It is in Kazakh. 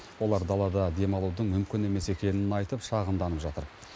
олар далада демалудың мүмкін емес екенін айтып шағымданып жатыр